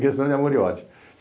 questão de amor e ódio.